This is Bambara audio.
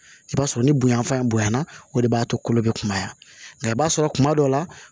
I b'a sɔrɔ ni bonya fan bonya na o de b'a to kolo bɛ kumaya nka i b'a sɔrɔ kuma dɔ la